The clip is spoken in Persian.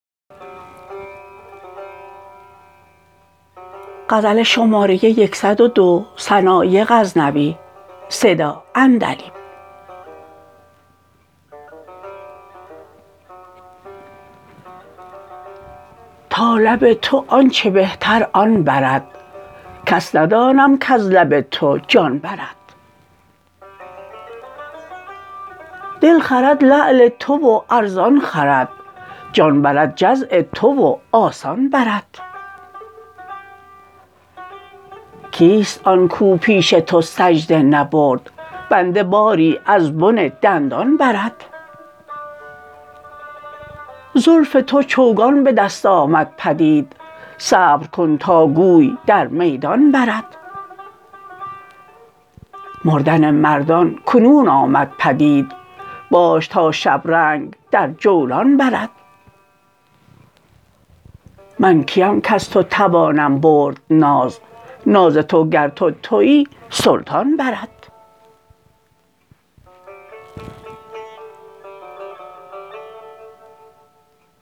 تا لب تو آنچه بهتر آن برد کس ندانم کز لب تو جان برد دل خرد لعل تو و ارزان خرد جان برد جزع تو و آسان برد کیست آن کو پیش تو سجده نبرد بنده باری از بن دندان برد زلف تو چوگان به دست آمد پدید صبر کن تا گوی در میدان برد مردن مردان کنون آمد پدید باش تا شبرنگ در جولان برد من کیم کز تو توانم برد ناز ناز تو گر تو تویی سلطان برد